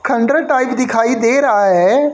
खंडर टाइप दिखाई दे रहा है।